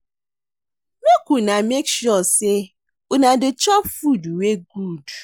Make una make sure sey una dey chop food wey good.